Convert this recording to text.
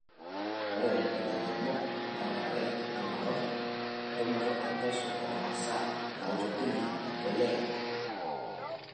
Ore ilairemok nenare neing'or entumoto epesho oomasaa naitobirie empuliya.